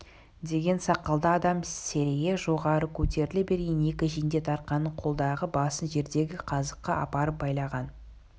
деген сақалды адам серейе жоғары көтеріле берген екі жендет арқанның қолдағы басын жердегі қазыққа апарып байлаған